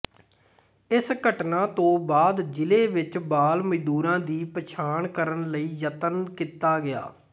ਇਸ ਘਟਨਾ ਤੋਂ ਬਾਅਦ ਜ਼ਿਲ੍ਹੇ ਵਿੱਚ ਬਾਲ ਮਜ਼ਦੂਰਾਂ ਦੀ ਪਛਾਣ ਕਰਨ ਲਈ ਯਤਨ ਕੀਤਾ ਗਿਆ